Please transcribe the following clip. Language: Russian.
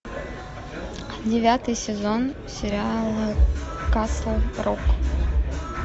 девятый сезон сериала касл рок